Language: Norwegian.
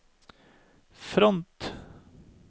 front